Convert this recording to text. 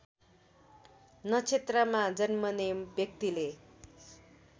नक्षत्रमा जन्मने व्यक्तिले